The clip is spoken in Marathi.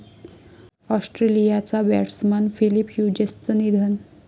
ऑस्ट्रेलियाचा बॅट्समन फिलिप ह्युजेसचं निधन